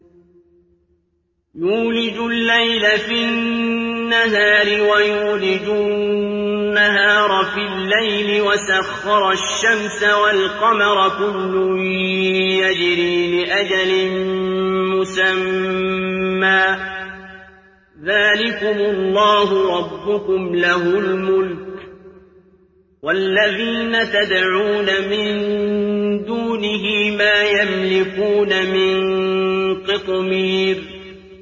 يُولِجُ اللَّيْلَ فِي النَّهَارِ وَيُولِجُ النَّهَارَ فِي اللَّيْلِ وَسَخَّرَ الشَّمْسَ وَالْقَمَرَ كُلٌّ يَجْرِي لِأَجَلٍ مُّسَمًّى ۚ ذَٰلِكُمُ اللَّهُ رَبُّكُمْ لَهُ الْمُلْكُ ۚ وَالَّذِينَ تَدْعُونَ مِن دُونِهِ مَا يَمْلِكُونَ مِن قِطْمِيرٍ